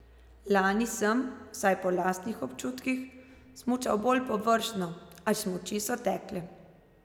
Lani sem, vsaj po lastnih občutkih, smučal bolj površno, a smuči so tekle.